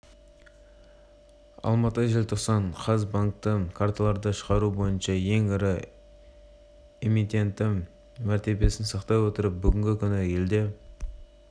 алматы желтоқсан қаз банктік карталарды шығару бойынша ең ірі эмитенті мәртебесін сақтай отырып бүгінгі күні елде